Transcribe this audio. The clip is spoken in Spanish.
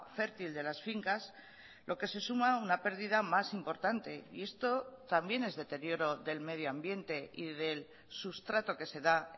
fértil de las fincas lo que se suma a una perdida más importante y esto también es deterioro del medio ambiente y del sustrato que se da